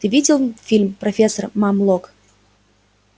ты видел фильм профессор мамлок